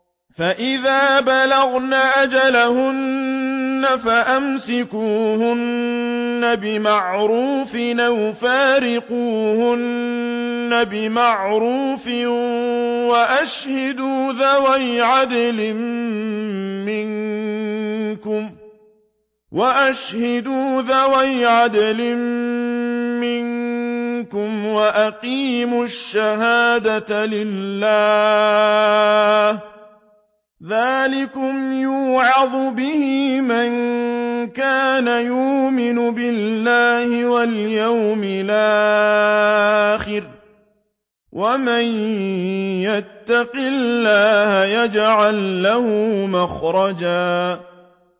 فَإِذَا بَلَغْنَ أَجَلَهُنَّ فَأَمْسِكُوهُنَّ بِمَعْرُوفٍ أَوْ فَارِقُوهُنَّ بِمَعْرُوفٍ وَأَشْهِدُوا ذَوَيْ عَدْلٍ مِّنكُمْ وَأَقِيمُوا الشَّهَادَةَ لِلَّهِ ۚ ذَٰلِكُمْ يُوعَظُ بِهِ مَن كَانَ يُؤْمِنُ بِاللَّهِ وَالْيَوْمِ الْآخِرِ ۚ وَمَن يَتَّقِ اللَّهَ يَجْعَل لَّهُ مَخْرَجًا